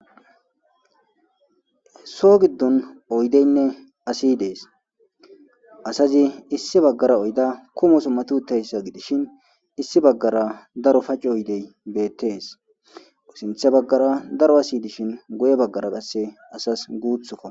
So giddon oydeynne asi dees asazi issi baggara oyda kumoso matutayssa gidishin issi baggara daro paci oydey beettees sinthe baggara daro asi dishin goye baggara qasse asas guuthokka.